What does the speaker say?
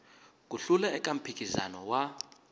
ku hlula eka mphikizano wa